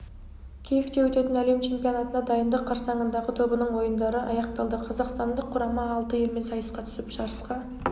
киевте өтетін әлем чемпионатына дайындық қарсаңындағы тобының ойындары аяқталды қазақстандық құрама алты елмен сайысқа түсіп жарысқа